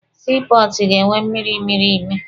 Sii pọọtụ ga-enwe mmịrị mịrị ime.